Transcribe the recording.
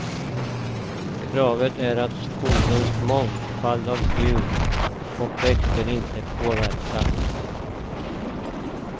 Kravet är att skogens mångfald av djur och växter inte påverkas.